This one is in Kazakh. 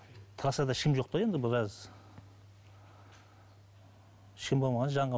трассада ешкім жоқ та енді біраз ешкім болмаған